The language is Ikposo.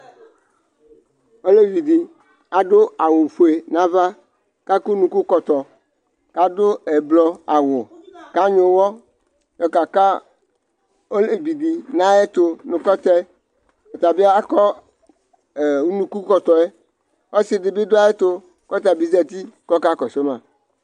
Olevɩ dɩ adʋ aɣʋ ofue nʋ ava, kʋ akɔ unukukɔtɔ, kʋ adʋ ɛblɔ aɣʋ, kʋ anyʋɛ ʋwɔ yɔ ka ka olevi dɩ nʋ ayʋ ɛtʋ nʋ kɔ tɛ Ɔta bɩ akɔ unukukɔtɔ yɛ Ɔsɩ dɩ bɩ dʋ ayʋ ɛtʋ, kʋ ɔta bɩ zǝtɩ kʋ ɔka kɔsʋ ma